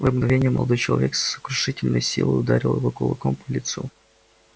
в это мгновение молодой человек с сокрушительной силой ударил его кулаком по лицу